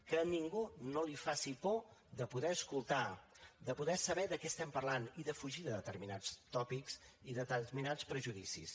que a ningú no li faci por de poder escoltar de poder saber de què estem parlant i de fugir de determinats tòpics i determinats prejudicis